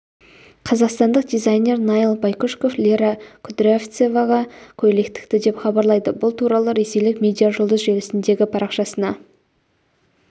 қазақстандық дизайнер наиль байкүшіков лера кудрявцеваға көйлек тікті деп хабарлайды бұл туралы ресейлік медиажұлдыз желісіндегі парақшасына